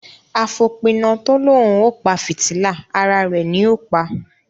Afopina to lòún o pa fìtílà, àrà rẹ ní o pa.